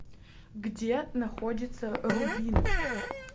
где находится рубин